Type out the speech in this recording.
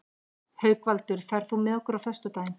Haukvaldur, ferð þú með okkur á föstudaginn?